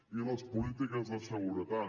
i les polítiques de seguretat